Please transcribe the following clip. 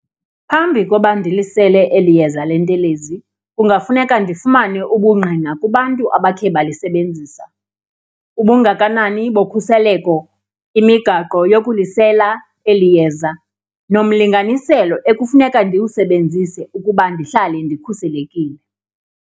Phambi koba ndilisele eli yeza lentelezi kungafuneka ndifumane ubungqina kubantu abakhe balisebenzisa, ubungakanani bokhuseleko, imigaqo yokulisela eli yeza nomlinganiselo ekufuneka ndiwusebenzise ukuba ndihlale ndikhuselekile.